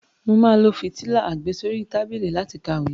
Mà á lo fìtílà àgbésórí tábìlì láti kàwé.